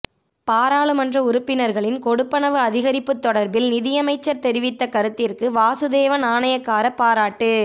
பாராளுமன்ற உறுப்பினர்களின் கொடுப்பனவு அதிகரிப்புத் தொடர்பில் நிதியமைச்சர் தெரிவித்த கருத்திற்கு வாசுதேவ நாணயக்கார பாராட்டு